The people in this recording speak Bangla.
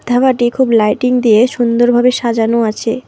ধাবাটি খুব লাইটিং দিয়ে সুন্দরভাবে সাজানো আছে।